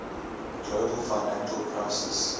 global financial crisis